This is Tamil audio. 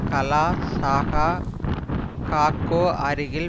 காலா ஷாஹ் காகோ அருகில்